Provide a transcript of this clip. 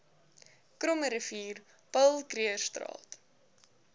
krommerivier paul krugerstraat